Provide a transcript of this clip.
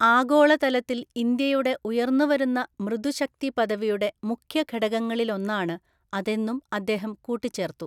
ആഗോളതലത്തില്‍ ഇന്ത്യയുടെ ഉയര്‍ന്നുവരുന്ന മൃദുശക്തിപദവിയുടെ മുഖ്യഘടകളിലൊന്നാണ് അതെന്നും അദ്ദേഹം കൂട്ടിച്ചേര്‍ത്തു.